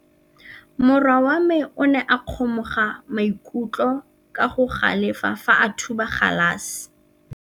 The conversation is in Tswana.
Morwa wa me o ne a kgomoga maikutlo ka go galefa fa a thuba galase.